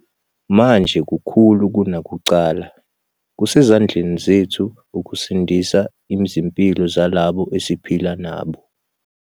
Manje kakhulu kunakuqala, kusezandleni zethu ukusindisa izimpilo zalabo esiphila nabo.